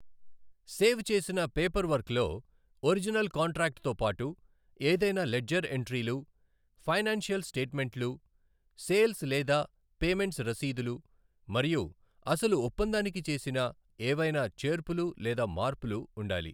Save చేసిన పేపర్వర్క్లో, original కాంట్రాక్ట్తో పాటు, ఏదైనా లెడ్జర్ ఎంట్రీలు, ఫైనాన్షియల్ స్టేట్మెంట్లు, సేల్స్ లేదా పేమెంట్స్ రసీదులు మరియు అసలు ఒప్పందానికి చేసిన ఏవైనా చేర్పులు లేదా మార్పులు ఉండాలి.